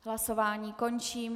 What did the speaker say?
Hlasování končím.